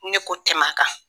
Ni ne ko tɛmɛn a kan